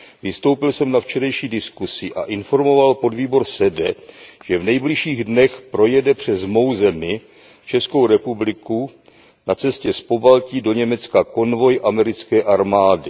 Vystoupil jsem na včerejší diskusi a informoval podvýbor SEDE, že v nejbližších dnech projede přes mou zemi, Českou republikou, na cestě z Pobaltí do Německa konvoj americké armády.